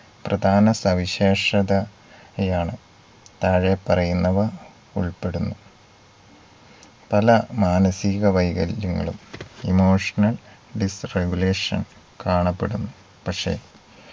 പ്രധാന സവിശേഷതയാണ്. താഴെ പറയുന്നവ ഉൾപ്പെടുന്നു. പല മാനസീക വൈകല്യങ്ങളും emotional disregulation കാണപ്പെടുന്നു. പക്ഷെ